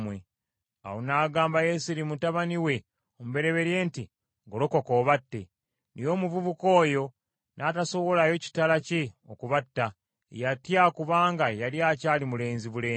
Awo n’agamba Yeseri mutabani we omubereberye nti, “Golokoka obatte.” Naye omuvubuka oyo n’atasowolayo kitala kye okubatta. Yatya kubanga yali akyali mulenzi bulenzi.